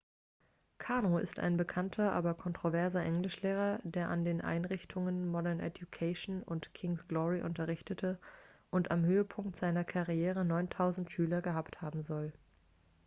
karno ist ein bekannter aber kontroverser englischlehrer der an den einrichtungen modern education und king's glory unterrichtete und am höhepunkt seiner karriere 9000 schüler gehabt haben soll